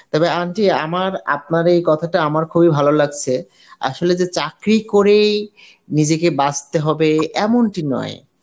তবে aunty আমার আপনার এই কথাটা আমার খুবই ভালো লাগসে আসলে যে চাকরি করেই নিজেকে বাঁচতে হবে, এমনটি নয়